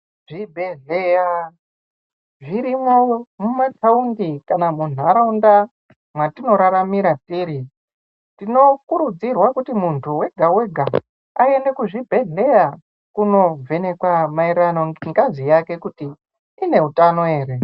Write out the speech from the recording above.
Zvibhedhleya zvirimwo mumataundi kana mumanharaunda mwatinora tiri. Tinokurudzirwa kuti muntu vega-vega aende kuzvibhedhlera kunovhenekwa maererano nengazi yake kuti ine hutano ere.